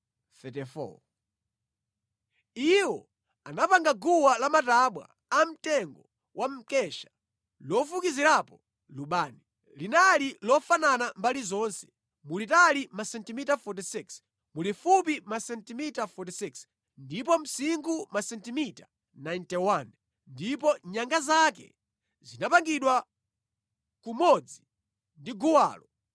Iwo anapanga guwa lamatabwa amtengo wa mkesha lofukizirapo lubani. Linali lofanana mbali zonse, mulitali masentimita 46, mulifupi masentimita 46, ndipo msinkhu masentimita 91, ndipo nyanga zake zinapangidwa kumodzi ndi guwalo.